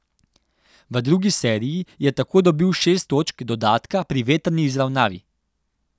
V drugi seriji je tako dobil šest točk dodatka pri vetrni izravnavi.